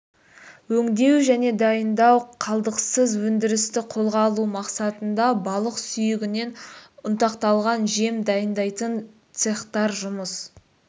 өңдеу және дайындау қалдықсыз өндірісті қолға алу мақсатында балық сүйегінен ұнтақталған жем дайындайтын цехтар жұмыс